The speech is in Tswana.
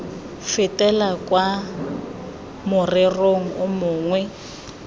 fetele kwa morerong o mongwe